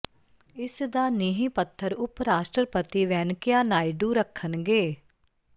ਇਸ ਦਾ ਨੀਂਹ ਪੱਥਰ ਉਪ ਰਾਸ਼ਟਰਪਤੀ ਵੈਨਕਿਆ ਨਾਇਡੂ ਰੱਖਣਗੇ